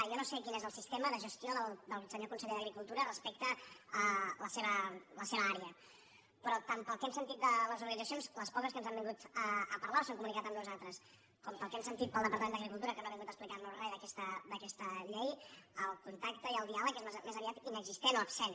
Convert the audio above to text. jo no sé quin és el sistema de gestió del senyor conseller d’agricultura respecte a la seva àrea però tant pel que hem sentit de les orga·nitzacions les poques que ens han vingut a parlar o s’han comunicat amb nosaltres com pel que hem sen·tit del departament d’agricultura que no ha vingut a explicar·nos res d’aquesta llei el contacte i el diàleg és més aviat inexistent o absent